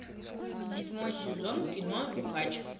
седьмой сезон кино нюхач